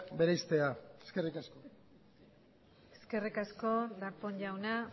bereiztea eskerrik asko eskerrik asko darpón jauna